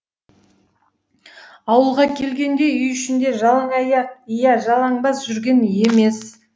ауылға келгенде үй ішінде жалаңаяқ иә жалаңбас жүрген емес